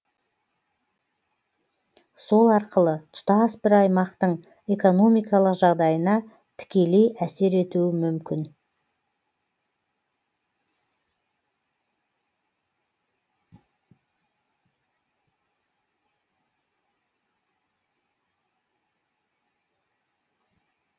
сол арқылы тұтас бір аймақтың экономикалық жағдайына тікелей әсер етуі мүмкін